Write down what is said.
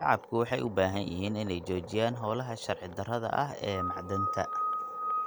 Shacabku waxay u baahan yihiin inay joojiyaan hawlaha sharci darrada ah ee macdanta.